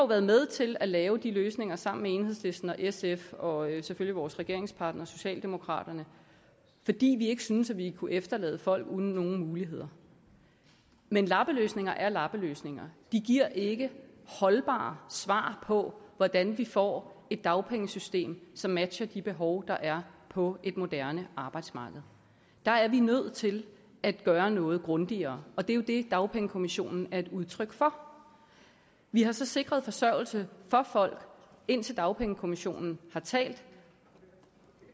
været med til at lave de løsninger sammen med enhedslisten og sf og selvfølgelig vores regeringspartner socialdemokraterne fordi vi ikke synes vi kunne efterlade folk uden nogen muligheder men lappeløsninger er lappeløsninger de giver ikke holdbare svar på hvordan vi får et dagpengesystem som matcher de behov der er på et moderne arbejdsmarked der er vi nødt til at gøre noget grundigere og det er jo det dagpengekommissionen er et udtryk for vi har så sikret forsørgelse for folk indtil dagpengekommissionen har talt